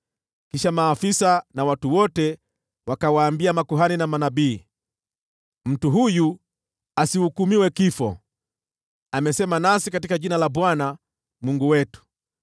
Kisha maafisa na watu wote wakawaambia makuhani na manabii, “Mtu huyu asihukumiwe kifo! Amesema nasi katika jina la Bwana , Mungu wetu.”